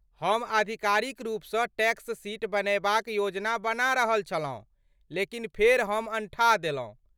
हम आधिकारिक रूपसँ टैक्स शीट बनयबाक योजना बना रहल छलहुँ लेकिन फेर हम अनठा देलहुँ।